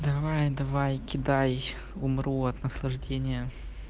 давай давай кидай умру от наслаждения